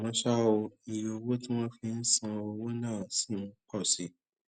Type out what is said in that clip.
àmó ṣá o iye owó tí wón fi ń san owó náà ṣì ń pọ sí